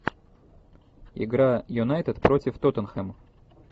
игра юнайтед против тоттенхэм